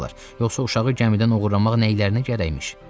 Yoxsa uşağı gəmidən oğurlamaq nə işlərinə gərək imiş?